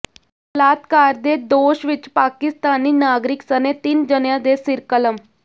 ਬਲਾਤਕਾਰ ਦੇ ਦੋਸ਼ ਵਿਚ ਪਾਕਿਸਤਾਨੀ ਨਾਗਰਿਕ ਸਣੇ ਤਿੰਨ ਜਣਿਆਂ ਦੇ ਸਿਰ ਕਲਮ